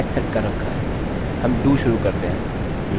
यहाँ पर कोई कंडीशन नहीं है अतः यह बिना किसी की परवाह किये रन करेगा